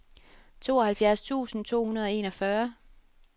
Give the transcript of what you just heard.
tooghalvfjerds tusind to hundrede og enogfyrre